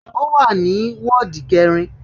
Ó wà ní wọ́ọ̀dù kẹrin